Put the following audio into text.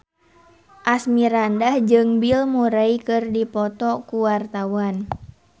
Asmirandah jeung Bill Murray keur dipoto ku wartawan